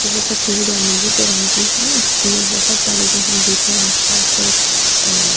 वो सफेद और नीले से रंग की है जिसमे बहुत सारे जो हम देख रहे आस-पास अ --